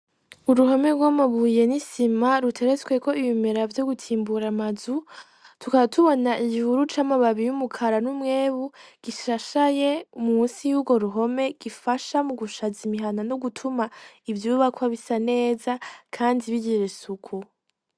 Uruhome gw'amabuye n'isima ruteretsweko ibimera vyogutimbura amazu tukaba tubona igihuru c'amababi y'umukara n'umwebu gishashaye munsi y'ugwo ruhome gifasha mu gushaza imihana no gutuma ivyubakwa bisa neza Kandi bigira isuku.